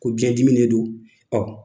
Ko biɲɛdimi de don